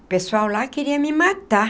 O pessoal lá queria me matar.